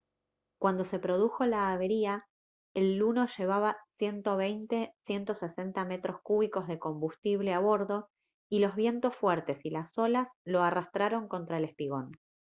cuando se produjo la avería el luno llevaba 120-160 metros cúbicos de combustible a bordo y los vientos fuertes y las olas lo arrastraron contra el espigón